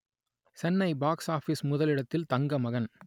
Chennai box office முதலிடத்தில் தங்கமகன்